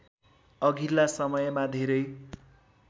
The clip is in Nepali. अघिल्ला समयमा धेरै